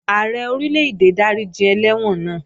Ààrẹ Orílè-èdè dáríji ẹlẹ́wọ̀n náà